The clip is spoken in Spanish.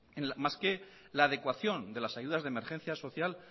más que la adecuación de las ayudas de emergencia social